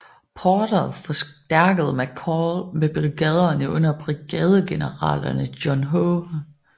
Porter forstærkede McCall med brigaderne under brigadegeneralerne John H